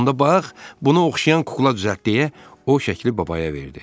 Onda bax, buna oxşayan kukla düzəlt deyə o şəkli babaya verdi.